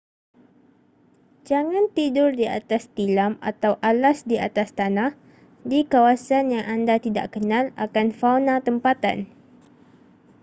jangan tidur di atas tilam atau alas di atas tanah di kawasan yang anda tidakkenal akan fauna tempatan